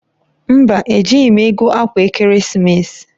Mba, ejighi m ego akwa ekeresimesi